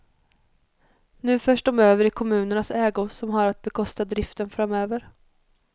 Nu förs de över i kommunernas ägo som har att bekosta driften framöver.